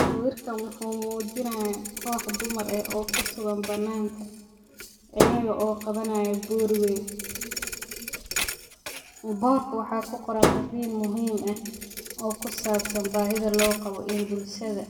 Sawirkan wuxuu muujinaya koox dumara oo kusugan banaanka ayeka oo qabanaaya boor weyn. Boorka waxaa kuqoran fariin muhiim ah oo kusaabsan baahida loo qabo in bulshada